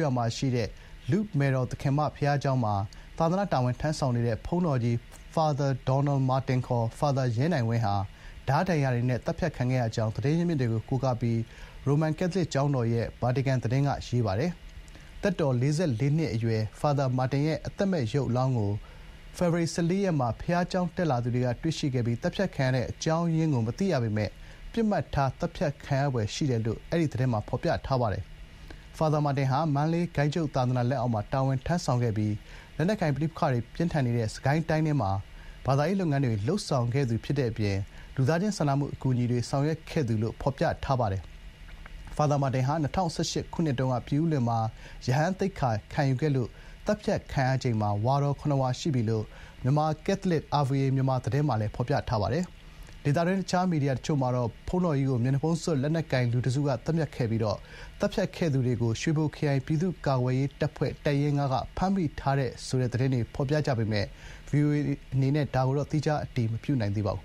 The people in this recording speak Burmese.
ရွာမှာ ရှိတဲ့ လုဒ်မယ်တော်သခင်မ ဘုရားကျောင်း (Our Lady of Lourdes) မှာ သာသနာ့ တာဝန်ထမ်းဆောင်နေတဲ့ ဘုန်းတော်ကြီး ဖာသာရ် ဒေါနယ် မာတင် (Fr. Donald Martin) (ခေါ်) ဖာသာရ် ရဲနိုင်ဝင်း ဟာ ဓားဒဏ်ရာတွေနဲ့ သတ်ဖြတ်ခံခဲ့ရကြောင်း သတင်းရင်းမြစ်တွေကို ကိုးကားပြီး ရောမ ကက်သလစ် ကျောင်းတော်ရဲ့ ဗာတီကန် သတင်းက ရေးပါတယ်။ သက်တော် ၄၄ နှစ် အရွယ် ဖာသာရ် မာတင်ရဲ့ အသက်မဲ့ ရုပ်အလောင်းကို ဖေဖော်ဝါရီလ ၁၄ ရက်မှာ ဘုရားကျောင်းတက်သူတွေက တွေ့ရှိခဲ့ပြီး သတ်ဖြတ်ခံရတဲ့ အကြောင်းရင်းကို မသိရပေမယ့် ပစ်မှတ်ထား သတ်ဖြတ်ခံရဖွယ် ရှိတယ်လို့ ဖော်ပြထားပါတယ်။ ဖာသာရ် မာတင်ဟာ မန္တလေးဂိုဏ်းချုပ်သာသနာ လက်အောက်မှာ တာဝန်ထမ်းဆောင်ခဲ့ပြီး လက်နက်ကိုင် ပဋိပက္ခတွေ ပြင်းထန်နေတဲ့ မြန်မာပြည် အလယ်ပိုင်း စစ်ကိုင်းတိုင်းထဲမှာ ဘာသာရေး လုပ်ငန်းတွေ အပြင် ဒေသတွင်းမှာ လူသားချင်း စာနမှု အကူအညီတွေ ဆောင်ရွက်ခဲ့သူလို့ ဖော်ပြထားပါတယ်။ ဖာသာရ် မာတင် ဟာ ၂၀၁၈ ခုနှစ်တုန်းက ပြင်ဦးလွင်မြို့ အပြစ်မဲ့သန္ဓေယူသောသခင်မဘုရားကျောင်းမှာ ရဟန်းသိက္ခာကို ခံယူခဲ့လို့ သတ်ဖြတ်ခံရချိန်မှာ ဝါတော် ၇ ဝါ ရှိပြီ ဖြစ်တယ်လို့ မြန်မာ ကက်သလစ် (RVA Myanmar) သတင်းမှာလည်း ဖော်ပြပါတယ်။ ဒေသတွင်း တခြား မီဒီယာ တချို့မှာတော့ ဘုန်းတော်ကြီးကို မျက်နှာဖုံးစွပ် လက်နက်ကိုင် လူ တစုက သတ်ဖြတ်ခဲ့ပြီး သတ်ဖြတ်ခဲ့သူတွေကို စစ်အာဏာသိမ်းမှုကို ဆန့်ကျင် တော်လှန်နေတဲ့ ရွှေဘိုခရိုင် ပြည်သူ့ကာကွယ်ရေးတပ်ဖွဲ့ တပ်ရင်း ၅ က ဖမ်းမိထားတယ် ဆိုတဲ့ သတင်းတွေ ဖော်ပြကြပေမယ့် ဗွီအိုအေ အနေနဲ့ သီးခြား အတည်မပြုနိုင်သေးပါဘူး